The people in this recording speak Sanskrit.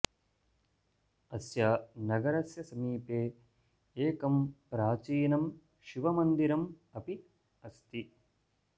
अस्य नगरस्य समीपे एकं प्राचीनं शिवमन्दिरम् अपि अस्ति